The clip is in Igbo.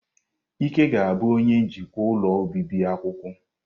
Ike ga-abụ onye njikwa ụlọ obibi akwụkwọ.